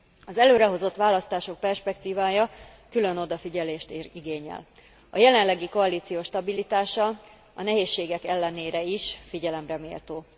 Az előrehozott választások perspektívája külön odafigyelést igényel. A jelenlegi koalíció stabilitása a nehézségek ellenére is figyelemre méltó.